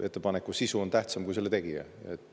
Ettepaneku sisu on tähtsam kui selle tegija.